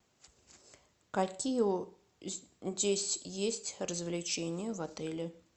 какие здесь есть развлечения в отеле